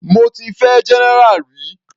Mo ti fẹ́ general rí.